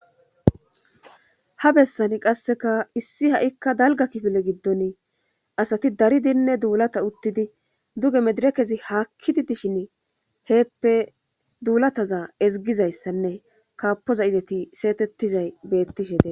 Ha bessan qasseka issi ha7ikka dalga kifile giddon asati dari dinne duulata uttidi duge medire kezi haakkidi dishin heeppe duulataza ezigizayssanne kaapoza izeti seetettizay bettishe de